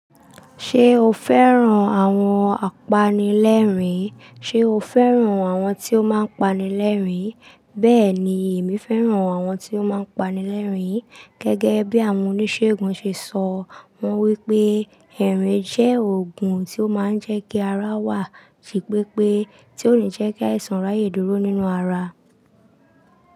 Ṣé o fẹ́ràn àwọn apanilẹ́rìn? Ṣé o fẹ́ràn àwọn tí ó máa ń pani lẹ́rìn? Bẹ́ẹ̀ ni, èmi fẹ́ràn àwọn tí ó máa ń pani lẹ́rìn. Gẹ́gẹ́ bí àwọn oníṣègùn ṣe sọ, wọ́n wípé ẹ̀rìn jẹ́ òogùn tí ó máa ń jẹ́ kí ara wà jì pépé, tí ó nì jẹ́ kí àìsàn ráyè dúró nínú ara.